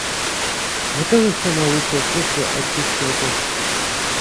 закажи самое лучшее средство очистки окон